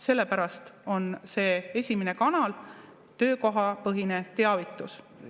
Sellepärast on see esimene kanal töökohapõhine teavitus.